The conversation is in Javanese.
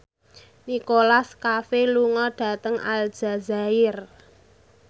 Nicholas Cafe lunga dhateng Aljazair